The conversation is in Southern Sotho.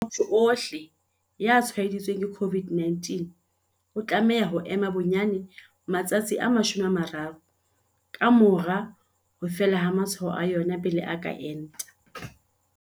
Motho ohle ya tshwaeditsweng ke COVID-19 o tlameha ho ema bonyane matsatsi a 30 ka mora ho fela ha matshwao a yona pele a ka enta.